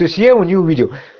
то есть я его не увидел